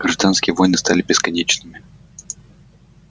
гражданские войны стали бесконечными